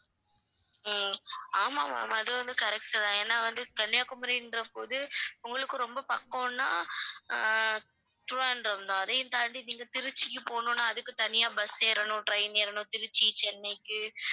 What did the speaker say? அஹ் ஆமாம் ma'am அது வந்து correct தான் ஏன்னா வந்து கன்னியாகுமரின்றபோது உங்களுக்கு ரொம்ப பக்கம்னா ஆஹ் திருவனந்தபுரம் தான் அதையும் தாண்டி நீங்க திருச்சிக்கு போகணும்னா அதுக்கு தனியா bus ஏறணும் train ஏறணும் திருச்சி, சென்னைக்கு